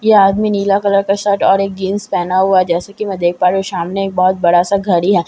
यह आदमी नीला कलर का शर्ट और जींस पहना हुआ है जैसे कि मैं देख पा रही हूं सामने एक बहुत बड़ा घड़ी है जिसका--